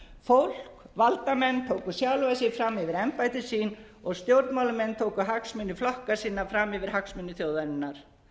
fólk valdamenn tóku sjálfa sig fram yfir embætti sín og stjórnmálamenn tóku hagsmuni flokka sinna fram yfir hagsmuni þjóðarinnar